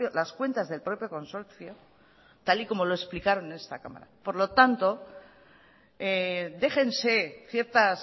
las cuentas del propio consorcio tal y como lo explicaron en esta cámara por lo tanto déjense ciertas